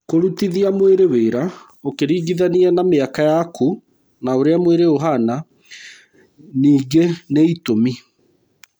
Kũrutithia mwĩrĩ wĩra ũkĩringithania na mĩaka yaku na ũrĩa mwĩrĩ ũhana ningĩ nĩ itũmi.